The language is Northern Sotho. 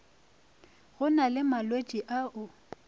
go na le malwetši ao